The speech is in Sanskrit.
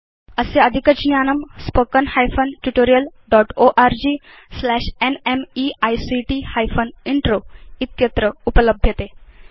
अस्य अधिकज्ञानम् स्पोकेन हाइफेन ट्यूटोरियल् dotओर्ग slash NMEICT hyphen intro httpspoken tutorialorgnmeict intro इत्यत्र उपलभ्यते